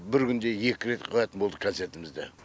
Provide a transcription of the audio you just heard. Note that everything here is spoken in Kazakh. бір күнде екі рет қоятын болдық концертімізді